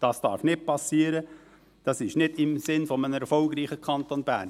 Dies darf nicht passieren, dies ist nicht im Sinn eines erfolgreichen Kantons Bern.